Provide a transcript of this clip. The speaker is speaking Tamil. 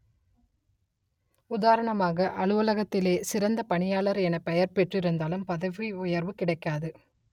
உதாரணமாக அலுவலகத்திலேயே சிறந்த பணியாளர் எனப் பெயர் பெற்றிருந்தாலும் பதவி உயர்வு கிடைக்காது